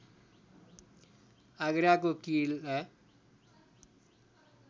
आगराको किला